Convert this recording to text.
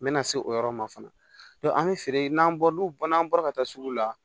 N mɛna se o yɔrɔ ma fana an bɛ feere n'an bɔra n'u bɔra n'an bɔra ka taa sugu la